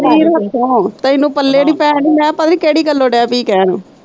ਸਰੀਰ ਹੱਥੋਂ, ਤੈਨੂੰ ਪੱਲੇ ਨੀ ਪੈਣ ਮੈਂ ਕਿਹਾ ਪਤਾ ਨੀ ਕਿਹੜੀ ਗੱਲੋਂ ਡੇ ਪਈ ਕਹਿਣ।